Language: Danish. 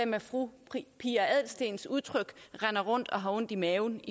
med fru pia adelsteens udtryk render rundt og har ondt i maven